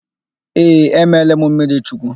Ee, emeela m mmirichukwu.